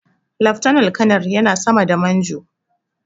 Laftanar kanar yana sama da Manjo.